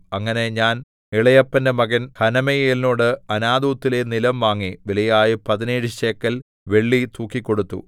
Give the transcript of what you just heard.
അങ്ങനെ ഞാൻ ഇളയപ്പന്റെ മകൻ ഹനമെയേലിനോട് അനാഥോത്തിലെ നിലം വാങ്ങി വിലയായ പതിനേഴ് ശേക്കെൽ വെള്ളി തൂക്കിക്കൊടുത്തു